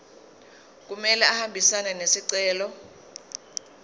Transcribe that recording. kumele ahambisane nesicelo